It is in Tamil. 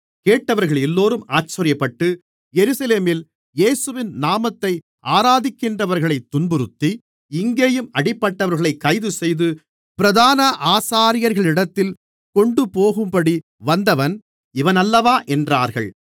கேட்டவர்களெல்லோரும் ஆச்சரியப்பட்டு எருசலேமில் இயேசுவின் நாமத்தை ஆராதிக்கின்றவர்களை துன்புறுத்தி இங்கேயும் அப்படிப்பட்டவர்களைக் கைதுசெய்து பிரதான ஆசாரியர்களிடத்தில் கொண்டுபோகும்படி வந்தவன் இவனல்லவா என்றார்கள்